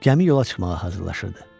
Gəmi yola çıxmağa hazırlaşırdı.